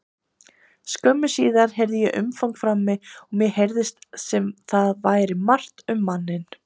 Skömmu síðar heyrði ég umgang frammi og mér heyrðist sem þar væri margt um manninn.